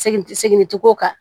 Segin seginw kan